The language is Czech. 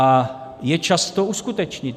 A je čas to uskutečnit.